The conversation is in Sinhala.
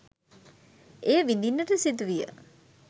එය විඳින්නට සිදුවිය.